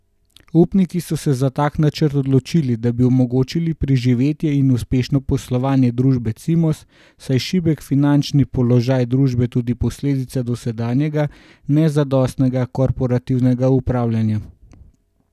Upniki so se za tak načrt odločili, da bi omogočili preživetje in uspešno poslovanje družbe Cimos, saj je šibek finančni položaj družbe tudi posledica dosedanjega nezadostnega korporativnega upravljanja.